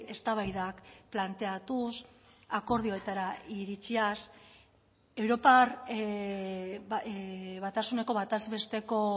eztabaidak planteatuz akordioetara iritziaz europar batasuneko bataz besteko